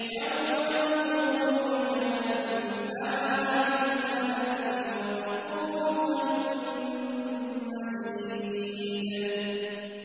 يَوْمَ نَقُولُ لِجَهَنَّمَ هَلِ امْتَلَأْتِ وَتَقُولُ هَلْ مِن مَّزِيدٍ